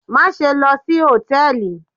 Maṣe lọ si hòtẹ́ẹ̀lì